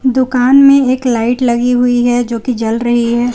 दुकान में एक लाइट लगी हुई है जो कि जल रही है।